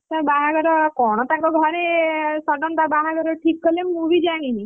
ତା ବାହାଘର କଣ ତାଙ୍କ ଘରେ sudden ତା ବାହାଘର ଠିକ୍ କଲେ! ମୁଁ ବି ଜାଣିନି,